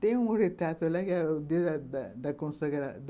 Tem um retrato lá da